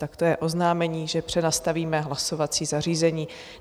Tak to je oznámení, že přenastavíme hlasovací zařízení.